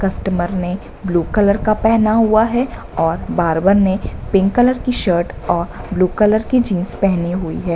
Customer ने blue colour का पहना हुआ है और बार्बर ने पिंक कलर की शर्ट और ब्लू कलर की जीन्स पहनी हुई है।